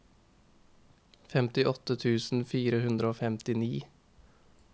femtiåtte tusen fire hundre og femtini